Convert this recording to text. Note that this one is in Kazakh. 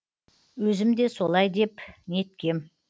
өзім де солай деп неткем